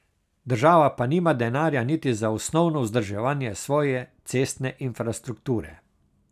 Država pa nima denarja niti za osnovno vzdrževanje svoje cestne infrastrukture.